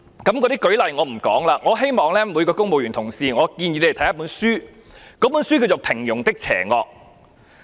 例子我不說了，我希望每位公務員同事都看我建議的一本書，書名是《平庸的邪惡》。